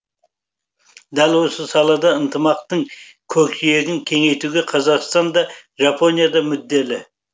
дәл осы салада ынтымақтың көкжиегін кеңейтуге қазақстан да жапония да мүдделі